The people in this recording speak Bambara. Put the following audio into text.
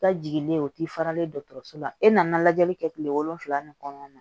Ka jiginlen ye o ti faralen dɔgɔtɔrɔso la e nana lajɛli kɛ kile wolonwula nin kɔnɔna na